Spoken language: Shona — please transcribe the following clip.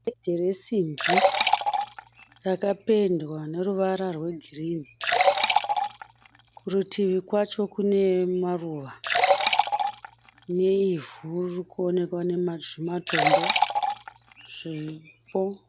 Gedhi resimbi rakapendwa neruvara rwegirinhi. Kurutivi kwacho kune maruva neivhu ririkuonekwa nezvimatombo zviripo.